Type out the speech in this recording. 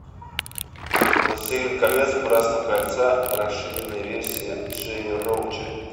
властелин колец братство кольца расширенная версия джея роуча